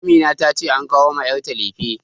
Amina ta ce an kawo ma yarta lefe